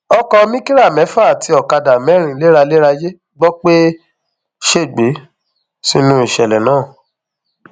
ọkọ mìkára mẹfà àti ọkadà mẹrin léralérayé gbọ pé ó ṣègbè sínú ìṣẹlẹ náà